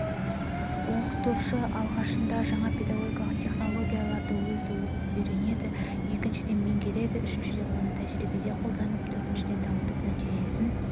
оқытушы алғашында жаңа педагогикалық технологияларды өзі оқып үйренеді екіншіден меңгереді үшіншіден оны тәжірибеде қолданап төртіншіден дамытып нәтижесін